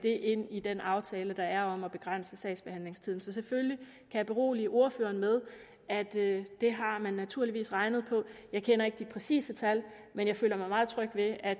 ind i den aftale der er om at begrænse sagsbehandlingstiden så selvfølgelig berolige ordføreren med at det det har man naturligvis regnet på jeg kender ikke de præcise tal men jeg føler mig meget tryg ved at